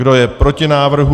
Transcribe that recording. Kdo je proti návrhu?